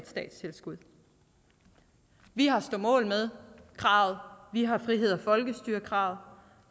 statstilskud vi har stå mål med kravet vi har frihed og folkestyre kravet